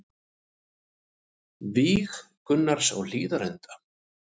Víg Gunnars á Hlíðarenda